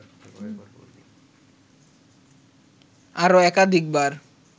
আরও একাধিকবার